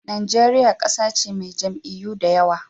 Najeriya ƙasa ce mai jam'iyyu da yawa.